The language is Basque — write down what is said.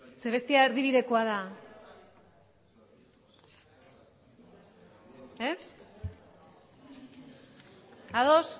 zeren bestea erdibidekoa da ez ados